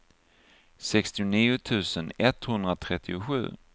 sextionio tusen etthundratrettiosju